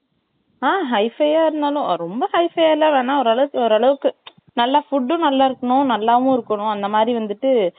அ high five இருத்தாலும் ரொம்ப high five அ இல்லை வேணா ஓர் அளவுக்கு ஓர் அளவுக்கு நல்லா food யும் நல்லாயிருக்கணும் நல்லாவும் இருக்கனும் அந்த மாதிரி வந்துட்டுட்டு